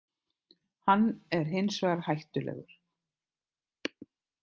Hann er hinsvegar hættulegur.